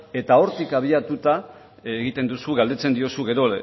eta hortik abiatuta egiten duzu galdetzen diozu gero